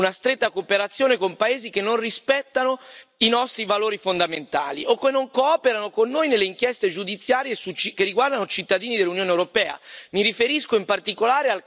Non possiamo oggi più tollerare una stretta cooperazione con paesi che non rispettano i nostri valori fondamentali o che non cooperano con noi nelle inchieste giudiziarie che riguardano cittadini dell'Unione europea.